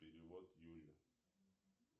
перевод юле